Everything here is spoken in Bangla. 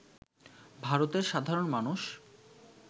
ভারতের সাধারণ মানুষ